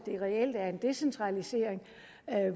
reelt er en decentralisering